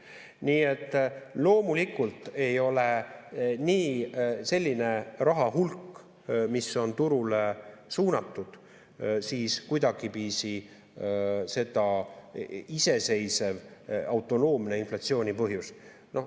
Nii et loomulikult ei ole selline raha hulk, mis on turule suunatud, kuidagiviisi iseseisev, autonoomne inflatsiooni põhjus.